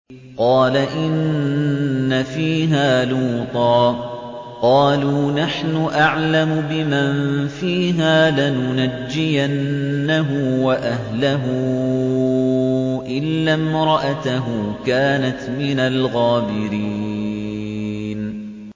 قَالَ إِنَّ فِيهَا لُوطًا ۚ قَالُوا نَحْنُ أَعْلَمُ بِمَن فِيهَا ۖ لَنُنَجِّيَنَّهُ وَأَهْلَهُ إِلَّا امْرَأَتَهُ كَانَتْ مِنَ الْغَابِرِينَ